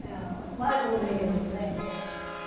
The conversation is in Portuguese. Não, mais ou menos, né? uhum